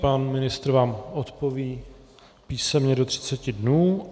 Pan ministr vám odpoví písemně do 30 dnů.